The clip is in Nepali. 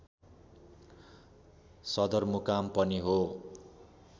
सदरमुकाम पनि हो